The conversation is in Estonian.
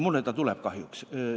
Mulle see tuleb meelde, kahjuks.